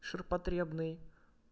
ширпотребный